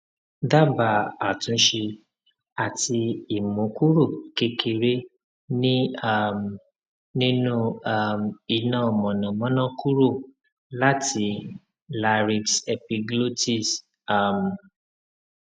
dabaa atunse ati imu kuro kekere ni um ninu um ina monamona kuro lati larynxepiglotis um